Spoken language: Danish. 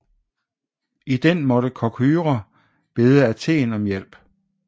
I den måtte Korkyra bede Athen om hjælp